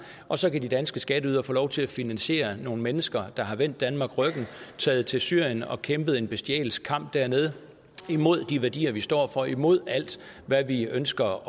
og så kan de danske skatteydere få lov til at finansiere nogle mennesker der har vendt danmark ryggen taget til syrien og kæmpet en bestialsk kamp dernede imod de værdier vi står for imod alt hvad vi ønsker